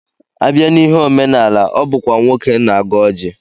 Abịa n'ihe omenala, ọ bụkwa nwoke na-agọ ọjị